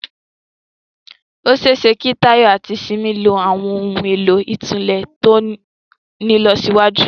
Ó ṣe é ṣe kí Tayo àti Simi lo àwọn ohun èlò ìtúlẹ̀ tó ní ìlọsíwájú